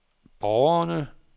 borgerne